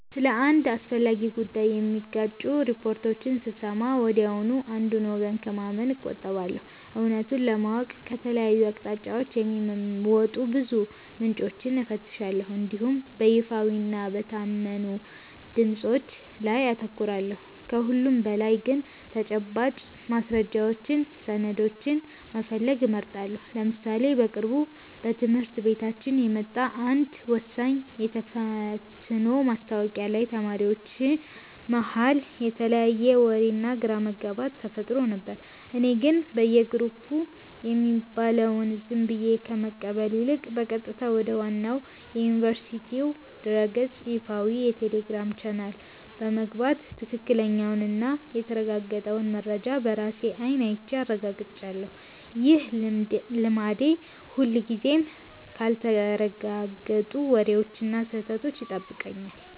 ስለ አንድ አስፈላጊ ጉዳይ የሚጋጩ ሪፖርቶችን ስሰማ ወዲያውኑ አንዱን ወገን ከማመን እቆጠባለሁ። እውነቱን ለማወቅ ከተለያዩ አቅጣጫዎች የሚወጡ ብዙ ምንጮችን እፈትሻለሁ እንዲሁም በይፋዊና በታመኑ ድምፆች ላይ አተኩራለሁ። ከሁሉም በላይ ግን ተጨባጭ ማስረጃዎችንና ሰነዶችን መፈለግ እመርጣለሁ። ለምሳሌ በቅርቡ በትምህርት ቤታችን የወጣ አንድ ወሳኝ የተፈትኖ ማስታወቂያ ላይ ተማሪዎች መሃል የተለያየ ወሬና ግራ መጋባት ተፈጥሮ ነበር። እኔ ግን በየግሩፑ የሚባለውን ዝም ብዬ ከመቀበል ይልቅ፣ በቀጥታ ወደ ዋናው የዩኒቨርሲቲው ድረ-ገጽና ይፋዊ የቴሌግራም ቻናል በመግባት ትክክለኛውንና የተረጋገጠውን መረጃ በራሴ አይን አይቼ አረጋግጫለሁ። ይህ ልማዴ ሁልጊዜም ካልተረጋገጡ ወሬዎችና ከስህተት ይጠብቀኛል።